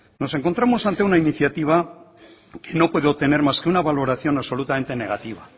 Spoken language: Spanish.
nos encontramos ante una iniciativa que no puedo tener más que una valoración absolutamente negativa